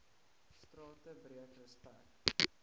strate breek respek